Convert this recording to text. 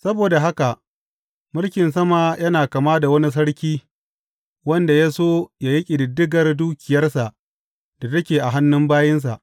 Saboda haka, mulkin sama yana kama da wani sarki wanda ya so yă yi ƙididdigar dukiyarsa da take a hannun bayinsa.